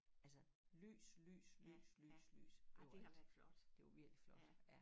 Altså lys lys lys lys lys overalt det var virkelig flot ja